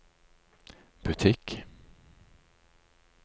butikk